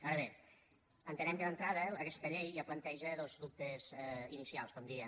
ara bé entenem que d’entrada aquesta llei ja planteja dos dubtes inicials com diria